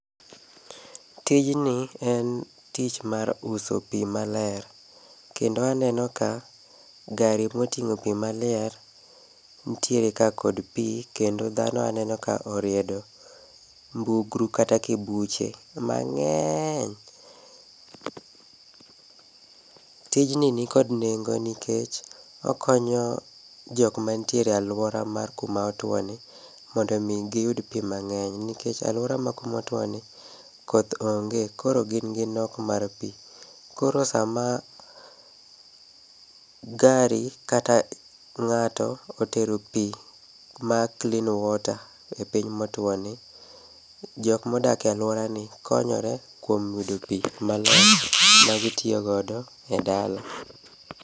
Tijni en tich mar uso pi maler kendo aneno ka gari moting'o pi maler nitiere ka kod pi kendo dhano aneno ka oriedo mbugru kata kibuche mang'eny. Tijni ni kod nengo nikech okonyo jok manitiere e alwora motwoni mondo omi giyud pi mang'eny nikech alwora ma kuma otwoni koth onge, koro gin gi nok mar pi koro sama gari kata ng'ato otero pi ma clean water kama otwoni, jok modak e alworani konyore kuom yudo pi maler magitiyo godo e dala.